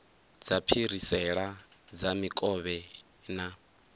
dza phirisela dza mikovhe na